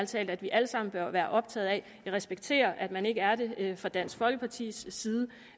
talt at vi alle sammen bør være optaget af jeg respekterer at man ikke er det fra dansk folkepartis side